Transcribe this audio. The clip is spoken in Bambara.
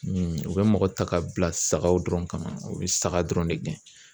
u bɛ mɔgɔ ta ka bila sagaw dɔrɔn kama u bɛ saga dɔrɔn de gɛn.